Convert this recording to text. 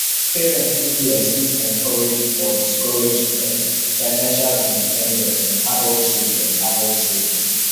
parentss influence fit encourage or discourage um financial independence in adult children adult children